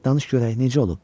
Danış görək necə olub.